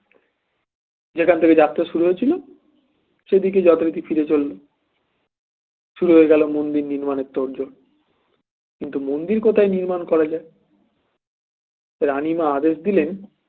যেখান থেকে যাত্রা শুরু হয়েছিল সেদিকেই যথারীতি ফিরে চলল শুরু হয়ে গেল মন্দির নির্মাণের তোড়জোড় কিন্তু মন্দির কোথায় নির্মাণ করা যায় রানীমা আদেশ দিলেন